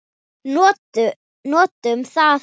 Notum það.